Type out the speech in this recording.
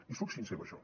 i soc sincer amb això